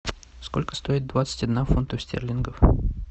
сколько стоит двадцать одна фунтов стерлингов